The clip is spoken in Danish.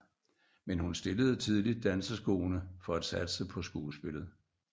Men hun stillede tidligt danseskoene for at satse på skuespillet